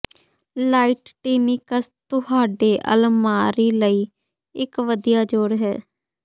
light tunics ਤੁਹਾਡੇ ਅਲਮਾਰੀ ਲਈ ਇਕ ਵਧੀਆ ਜੋੜ ਹੈ